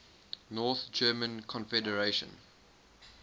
north german confederation